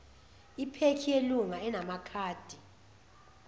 iphekhi yelunga enamakhadi